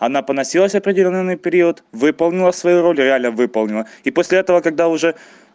она поносилась определённый период выполнила свою роль реально выполнила и после этого когда уже